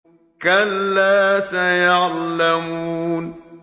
كَلَّا سَيَعْلَمُونَ